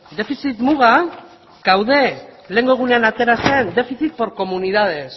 defizit muga gaude lehenengo egunean atera zen déficit por comunidades